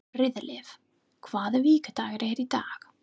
Friðleif, hvaða vikudagur er í dag?